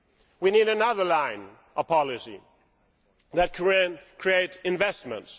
We need another line, a policy that creates investments.